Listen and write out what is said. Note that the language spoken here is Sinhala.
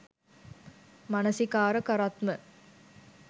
මනසිකාර කරත්ම